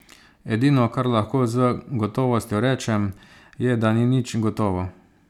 Edino, kar lahko z gotovostjo rečem, je, da ni nič gotovo.